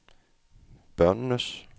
børnenes